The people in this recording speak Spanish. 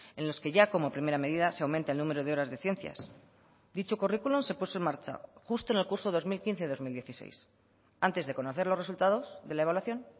en los que ya como primera medida se aumenta el número de horas de ciencias dicho currículum se puso en marcha justo en el curso dos mil quince dos mil dieciséis antes de conocer los resultados de la evaluación